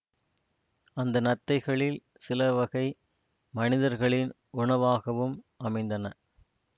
அந்த நத்தைகளில் சிலவகை மனிதர்களின் உணவாகவும் அமைந்தன